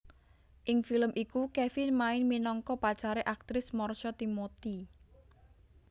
Ing film iku Kevin main minangka pacare aktris Marsha Timothy